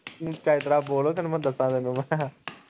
ਤੂੰ ਚੱਜ ਤਰਾ ਬੋਲ ਉਹ ਤੈਨੂੰ ਉਹ ਦਸਾ ਤੈਨੂੰ ਮੈਂ